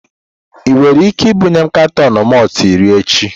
Ị nwere ike ibunye katọn malt iri echi?